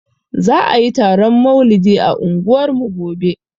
Za ayi taron maulidi a unguwarmu gobe